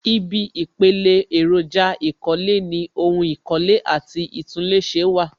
Ibi ìpele èròjà ìkọ́lé ni ohun ìkọ́lé àti ìtúnléṣe wà